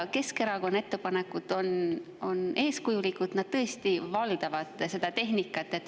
Keskerakonna ettepanekud on eeskujulikud, nad tõesti valdavad seda tehnikat.